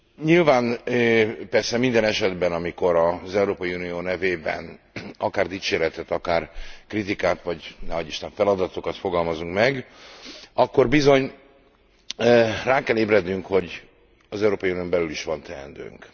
Nyilván persze minden esetben, amikor az Európai Unió nevében akár dicséretet, akár kritikát vagy ne adj Isten feladatokat fogalmazunk meg, akkor bizony rá kell ébrednünk, hogy az Európai Unión belül is van teendőnk.